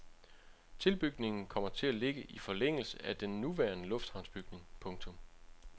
Tilbygningen kommer til at ligge i forlængelse af den nuværende lufthavnsbygning. punktum